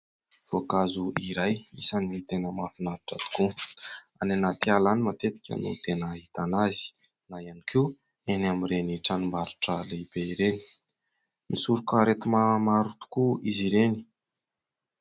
Voankazo iray isan'ny ny tena mafinaritra tokoa, any anaty ala any matetika no tena hitana azy na ihany koa eny amin'ireny tranombarotra lehibe ireny. Misoroka aretina maro tokoa izy ireny.